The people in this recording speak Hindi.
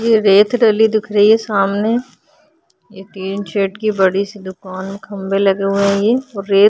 ये रेत डली दिख रही है सामने। ये टीनसेट की बड़ी सी दुकान खंभे लगे हुए हैं ये। रेत --